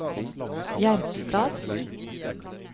Jerpstad